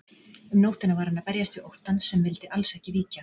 Um nóttina var hann að berjast við óttann sem vildi alls ekki víkja.